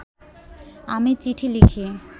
আমি চিঠি লিখি